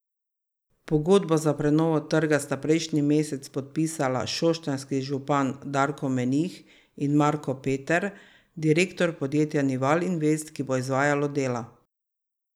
Pogodbo za prenovo trga sta prejšnji mesec podpisala šoštanjski župan Darko Menih in Marko Peter, direktor podjetja Nival Invest, ki bo izvajalo dela.